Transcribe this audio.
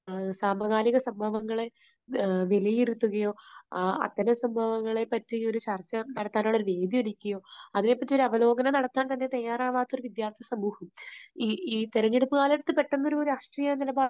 സമകാലിക സംഭവങ്ങളെ വിലയിരുത്തുകയോ അത്തരം സംഭവങ്ങളെപ്പറ്റി ഒരു ചർച്ച നടത്താനുള്ള ഒരു വേദിയൊരുക്കുകയോ അതിനെപ്പറ്റി ഒരു അവലോകനം നടത്താൻ തന്നെ തയ്യാറാകാത്ത ഒരു വിദ്യാർഥിസമൂഹം ഈ തെരഞ്ഞെടുപ്പ് കാലഘട്ടത്തിൽ പെട്ടെന്ന് ഒരു രാഷ്ട്രീയ നിലപാട്